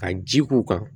Ka ji k'u kan